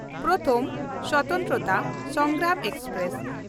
ᱯᱨᱚᱛᱷᱚᱢ ᱥᱚᱛᱚᱱᱛᱨᱚᱛᱟ ᱥᱚᱝᱜᱨᱟᱢ ᱮᱠᱥᱯᱨᱮᱥ